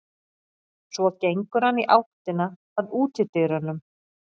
Svo gengur hann í áttina að útidyrunum.